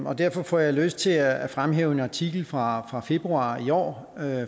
og derfor får jeg lyst til at fremhæve en artikel fra fra februar i år